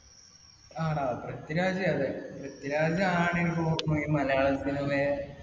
ആടാ. പൃഥ്വിരാജ് അതെ. പൃഥ്വിരാജ് ആണിപ്പോ main മലയാളം cinema യെ